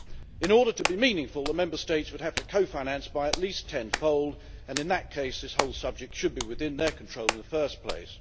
In order for this to be meaningful, the Member States would have to co finance by at least tenfold and, in that case, this whole subject should be within their control in the first place.